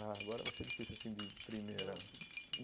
Ah, agora vai ser difícil, assim, de primeira.